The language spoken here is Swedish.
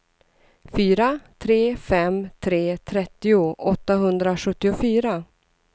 fyra tre fem tre trettio åttahundrasjuttiofyra